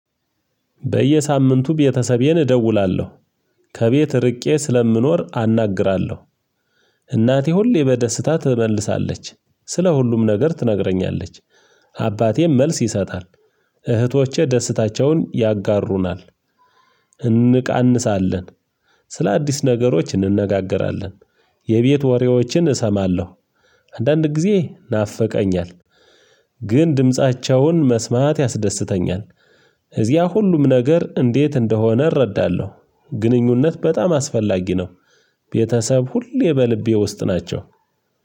በየሳምንቱ ቤተሰቤን እደውላለሁ ከቤት እርቄ ስለምኖር አናግራለሁ። እናቴ ሁሌ በደስታ ትመልሳለች ስለ ሁሉም ነገር ትነግረኛለች። አባቴም መልስ ይሰጣል። እህቶቼ ደስታቸውን ያጋሩናል እንቃንሳለን። ስለ አዲስ ነገሮች እንነጋገራለን። የቤት ወሬዎችን እሰማለሁ። አንዳንድ ጊዜ ናፈቀኛል። ግን ድምፃቸውን መስማት ያስደስተኛል። እዚያ ሁሉም ነገር እንዴት እንደሆነ እረዳለሁ። ግንኙነት በጣም አስፈላጊ ነው። አባቴም መልስ ይሰጣል እህቶቼ ደስታቸውን ያጋሩናል እንቃንሳለን።